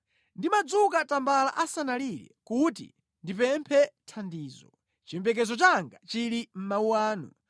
Ndimadzuka tambala asanalire kuti ndipemphe thandizo; chiyembekezo changa chili mʼmawu anu.